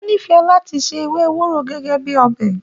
O n'ifẹ láti ṣe ewé ewúro gẹgẹ bíi ọbẹ.